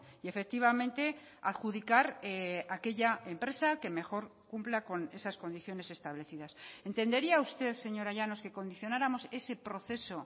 y efectivamente adjudicar aquella empresa que mejor cumpla con esas condiciones establecidas entendería usted señora llanos que condicionáramos ese proceso